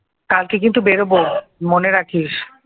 কালকে কিন্তু বেরোবো মনে রাখিস?